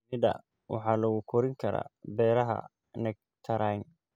Shinida waxaa lagu korin karaa beeraha nectarine.